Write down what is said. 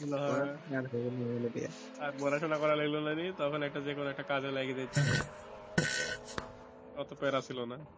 ভালো ছিল হ্যাঁ পড়াশোনা আর পড়াশোনা করা লাগলোনা তখন একটা যে কোনও একটা কাজে লাইগা যেতাম অতো প্যারা ছিল না